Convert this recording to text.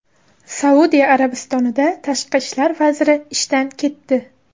Saudiya Arabistonida tashqi ishlar vaziri ishdan ketdi.